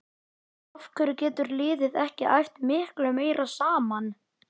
Af hverju getur liðið ekki æft miklu meira saman?